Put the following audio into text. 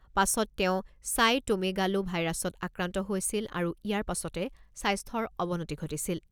পাছত তেওঁ চাইটোমেগালো ভাইৰাছত আক্ৰান্ত হৈছিল আৰু ইয়াৰ পাছতে স্বাস্থ্যৰ অৱনতি ঘটিছিল।